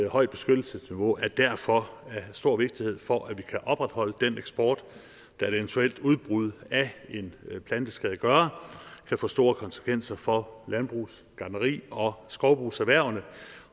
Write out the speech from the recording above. højt beskyttelsesniveau er derfor af stor vigtighed for at vi kan opretholde den eksport da et eventuelt udbrud af en planteskadegører kan få store konsekvenser for landbrugs gartneri og skovbrugserhvervene